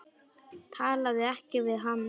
Talaðu ekki við hann.